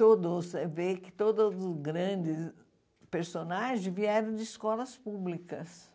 Todos você vê que todos os grandes personagens vieram de escolas públicas